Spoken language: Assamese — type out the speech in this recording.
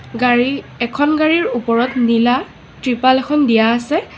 গাড়ী এখন গাড়ীৰ ওপৰত নীলা‌ ত্ৰিপাল এখন দিয়া আছে।